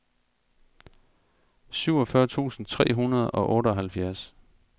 syvogfyrre tusind tre hundrede og otteoghalvfjerds